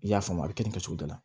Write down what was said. I y'a faamu a bɛ kɛ nin kɛcogo dɔ la